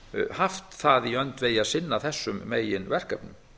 haft það í öndvegi að sinna þessum meginverkefnum